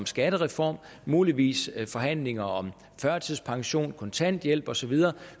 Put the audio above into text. skattereform muligvis forhandlinger om førtidspension kontanthjælp og så videre